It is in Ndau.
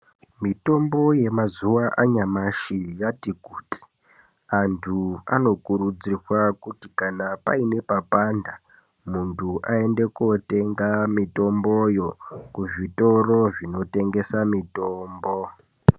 Mitombo yemazuwa anyamashi yati kuti anhu anokurudzirwa kuti kana paine papanda muntu aende kotenge mitomboyo kuzvitoro zvinotengese mitombo.